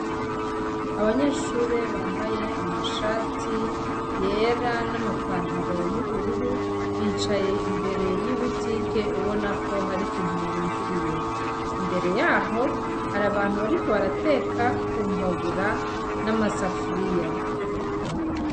Abanyeshure bambaye amashati yera n'amapantaro yubururu bicaye imbere yibutike ubanako hari ikintu barindiriye imbere yaho hari abantu bariko barateka kumbabura n'amasafuriya.